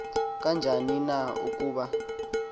kanjani na ukuba